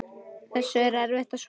Þessu er erfitt að svara.